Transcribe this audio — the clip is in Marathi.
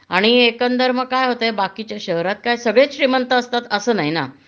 आणि एकंदर मग काय हॊतय बाकीच्या शहरात काय सगळेच श्रीमंत असतात असं नाही ना